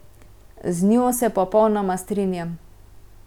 Z njo se popolnoma strinjam.